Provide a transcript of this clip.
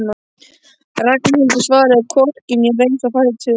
Ragnhildur svaraði hvorki né reis á fætur.